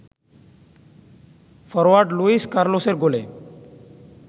forward Luis কার্লোসের গোলে